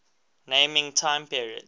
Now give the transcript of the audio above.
naming time periods